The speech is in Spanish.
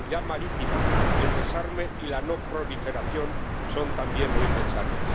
la seguridad marítima, el desarme y la no proliferación son también muy necesarios.